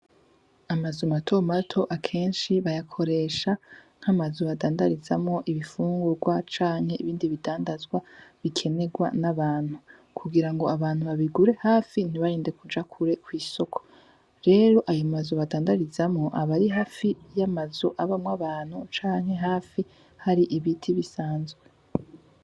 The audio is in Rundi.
Ama nzu matomato akenshi bayakoresha nkama nzu badandarizamw ibifungurwa canke ibindi bidandazwa bikenerwa n'abantu kugira ngo abantu babigure hafi ntibarinde kuja kure kw'isoko rero ayo ma nzu badandarizamo abari hafi y'amanzu abamwo abantu canke hafi har'ibiti bisanzwe.